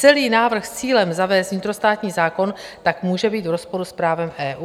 Celý návrh s cílem zavést vnitrostátní zákon tak může být v rozporu s právem EU.